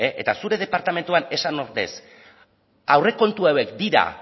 eta zure departamentuan esan ordez aurrekontu hauek dira